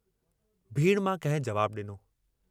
भीड़ मां कंहिं जवाबु डिनो।